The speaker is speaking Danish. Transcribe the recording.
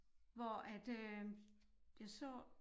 Hvor at øh jeg så